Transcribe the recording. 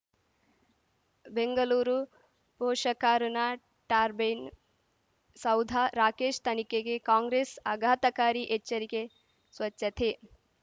ಬೆಂಗಲೂರು ಪೋಷಕರಋಣ ಟರ್ಬೈನು ಸೌಧ ರಾಕೇಶ್ ತನಿಖೆಗೆ ಕಾಂಗ್ರೆಸ್ ಆಘಾತಕಾರಿ ಎಚ್ಚರಿಕೆ ಸ್ವಚ್ಛತೆ